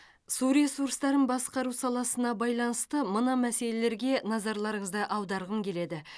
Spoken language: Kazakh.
су ресурстарын басқару саласына байланысты мына мәселелерге назарларыңызды аударғым келеді